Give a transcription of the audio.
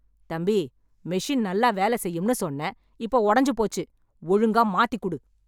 தம்பி, மெஷின் நல்ல வேல செய்யும்ன்னு சொன்ன, இப்போ ஒடஞ்சு போச்சு, ஒழுங்கா மாத்தி குடு.